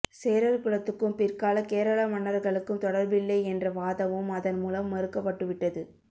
சேரர்குலத்துக்கும் பிற்கால கேரள மன்னர்களுக்கும் தொடர்பில்லை என்ற வாதமும் அதன்மூலம் மறுக்கப்பட்டுவிட்டது